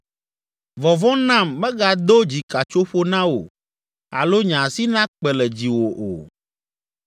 Vɔvɔ̃ nam megado dzikatsoƒo na wò alo nye asi nakpe le dziwò o.